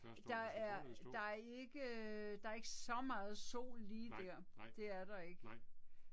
Der er der er ikke øh der er ikke så meget sol lige der, det er der ikke